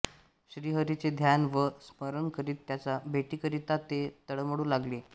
श्रीहरीचे ध्यान व स्मरण करीत त्याच्या भेटीकरिता ते तळमळू लागले